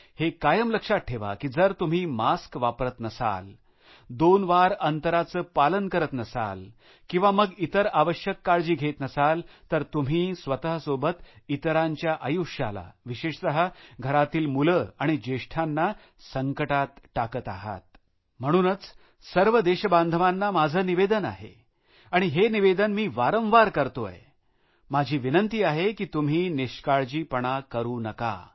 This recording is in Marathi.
हे कायम लक्षात ठेवा की जर तुम्ही मास्क वापरत नसाल दोन मीटरचे अंतर ठेवत नसाल किंवा मग इतर आवश्यक काळजी घेत नसाल तर तुम्ही स्वतःसोबत इतरांच्या आयुष्याला विशेषतः घरातली मुले आणि ज्येष्ठांना संकटात टाकत आहात म्हणूनच सर्व देशबांधवांना माझे निवेदन आहे आणि हे निवेदन मी वारंवार करतो माझी विनंती आहे की तुम्ही निष्काळजीपणा करु नका